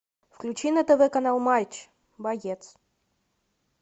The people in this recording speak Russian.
включи на тв канал матч боец